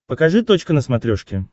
покажи точка на смотрешке